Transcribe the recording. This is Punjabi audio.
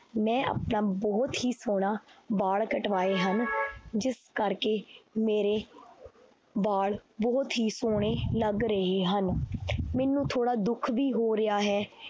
ਮੈਂ ਆਪਣਾ ਬਹੁਤ ਹੀ ਸੋਹਣਾ ਬਾਲ ਕਟਵਾਏ ਹਨ ਜਿਸ ਕਰਕੇ ਮੇਰੇ ਬਾਲ ਬਹੁਤ ਹੀ ਸੋਹਣੇ ਲੱਗ ਰਹੇ ਹਨ ਮੈਨੂੰ ਥੋੜ੍ਹਾ ਦੁੱਖ ਵੀ ਹੋ ਰਿਹਾ ਹੈ